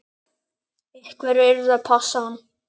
Einhver yrði að passa hann.